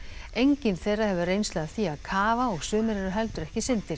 enginn þeirra hefur reynslu af því að kafa og sumir eru heldur ekki syndir